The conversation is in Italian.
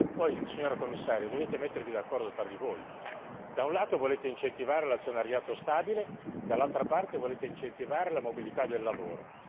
Poi, signora Commissario, dovete mettervi d'accordo tra di voi da un lato volete incentivare l'azionariato stabile, dall'altro lato volete incentivare la mobilità del lavoro.